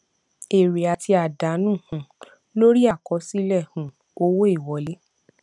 èrè àti àdánù um lórí àkọsílẹ um owó ìwọlé